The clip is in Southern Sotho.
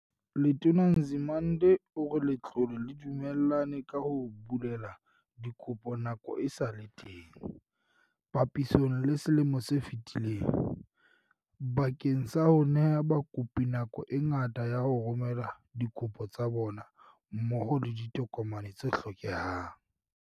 Letona Nzimande o re letlole le dumellane ka ho bulela dikopo nako e sa le teng, papisong le selemo se fetileng, bakeng sa ho neha bakopi nako e ngata ya ho romela dikopo tsa bona mmoho le ditokomane tse hlokehang.